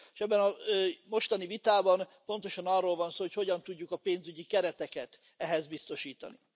És ebben a mostani vitában pontosan arról van szó, hogy hogyan tudjuk a pénzügyi kereteket ehhez biztosítani.